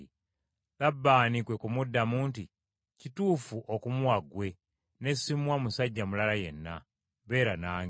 Labbaani kwe kumuddamu nti, “Kituufu okumuwa ggwe ne ssimuwa musajja mulala yenna. Beera nange.”